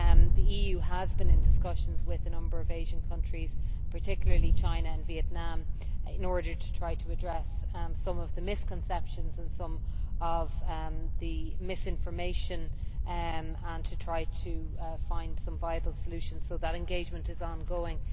The EU has been in discussions with a number of Asian countries, particularly China and Vietnam, in order to try to address some of the misconceptions and some of the misinformation, and to try to find some viable solutions, so that engagement is ongoing.